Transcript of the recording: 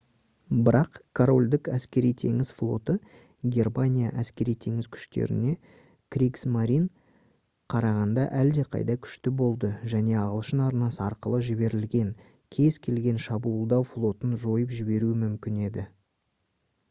бірақ корольдік әскери-теңіз флоты германия әскери-теңіз күштеріне «кригсмарин» қарағанда әлдеқайда күшті болды және ағылшын арнасы арқылы жіберілген кез-келген шабуылдау флотын жойып жіберуі мүмкін еді